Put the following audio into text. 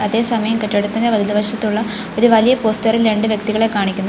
അതേസമയം കെട്ടിടത്തിന്റെ വലതുവശത്തുള്ള ഒരു വലിയ പോസ്റ്റർ ഇൽ രണ്ട് വ്യക്തികളെ കാണിക്കുന്നു.